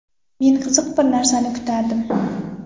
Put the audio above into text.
Men qiziq bir narsani kutardim.